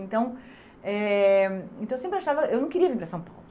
Então, eh então eu sempre achava, eu não queria vir para São Paulo.